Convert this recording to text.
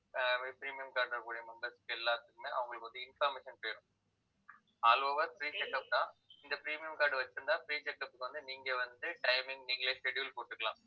ஆஹ் premium card ல இருக்கக்கூடிய members க்கு எல்லாத்துக்குமே அவங்களுக்கு வந்து information வேணும் all over free setup தான் இந்த premium card வச்சிருந்தா free check up க்கு வந்து நீங்க வந்து timing நீங்களே schedule போட்டுக்கலாம்